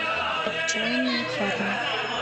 отчаянные парни